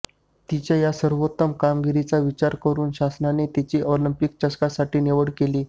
तिच्या या सर्वोत्तम कामगिरीचा विचार करून शासनाने तिची ऑलिंपिक चषकासाठी निवड केली